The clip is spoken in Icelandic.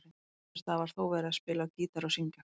Á einum stað var þó verið að spila á gítar og syngja.